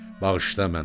Bağışla məni.